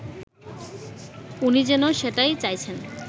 উনি যেন সেটাই চাইছেন